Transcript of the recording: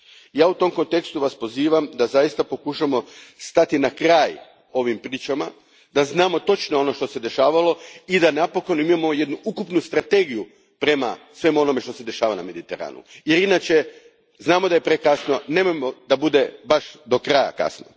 Ja Vas u tom kontekstu pozivam da zaista pokušamo stati na kraj ovim pričama, da znamo točno ono što se dešavalo i da napokon imamo jednu ukupnu strategiju prema svemu onome što se dešava na Mediteranu jer inače, znamo da je prekasno, nemojmo da bude baš do kraja kasno.